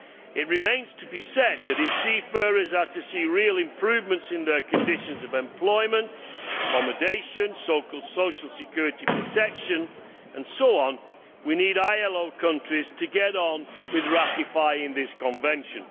It must be said that, if seafarers are to see real improvements in their conditions of employment, accommodation, social security protection and so on, we need ILO countries to get on with ratifying this convention.